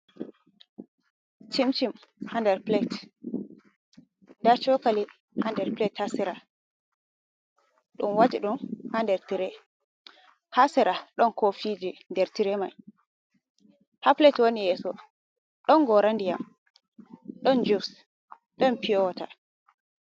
Cimcim ha nɗer pilet. Nɗa cokali ha nɗer pilet ha sera. Ɗum wati ɗum ha nɗer tire. ha sera ɗon kofiji ɗer tire mai. Ha pilet wani yeso ɗon gora nɗiam. Ɗon jus ɗon fiyowata.